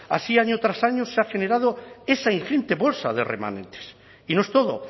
así año tras año se ha generado esa ingente bolsa de remanentes y no es todo